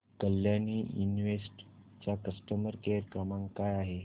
Kalyani invest चा customer care क्रमांक काय आहे